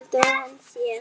Hver heldur að hann sé?